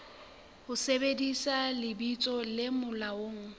ho sebedisa lebitso le molaong